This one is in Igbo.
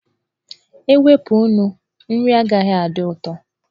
E wepụ nnu, nri agaghị adị ụtọ.